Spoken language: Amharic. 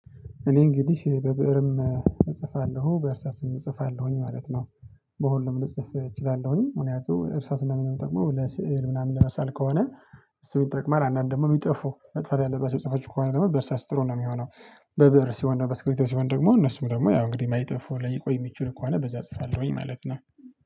እኔ እንግዲህ በብእርም እጽፋለሁ በእርሳስም እጽፋለሁኝ ማለት ነው። በሁሉም ልጽፍ እችላለሁኝ ምክንያቱም እርሳስ ማናምን ሚጠቅመው ለስዕል ምናምን ለመሳል ከሆነ። ሶ ይጠቅማል አንዳንድ ደግሞ የሚጠፉ መጥፅፋት ያለባቸው ጽሁፎች ከሆነ ደግሞ በእርሳስ ጥሩ ነው የሚሆነው። በብር ሲሆን በስክሪብቶ ሲሆን ደግሞ እነሱም ደግሞ ያው እንግዲህ ማይጠፉ ላይ የቆየሁት ከሆነ በዛ አጽፋለሁኝ ማለት ነው